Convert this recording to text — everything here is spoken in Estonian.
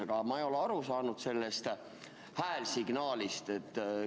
Aga ma ei ole aru saanud sellest häälsignaalist.